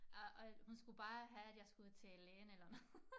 Og og hun skulle bare have at jeg skulle til lægen eller noget